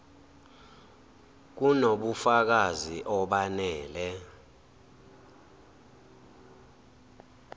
kuno bufakazi obanele